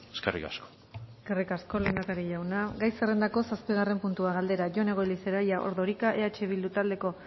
eskerrik asko eskerrik asko lehendakari jauna gai zerrendako zazpigarren puntua galdera jone goirizelaia ordorika eh bildu taldeko